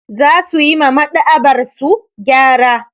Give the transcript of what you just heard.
Za su yi ma Maɗ'aba'arsu gyara.